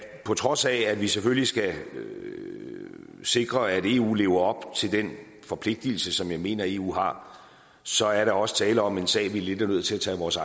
på trods af at vi selvfølgelig skal sikre at eu lever op til den forpligtelse som jeg mener eu har så er der også tale om en sag vi lidt er nødt til at tage os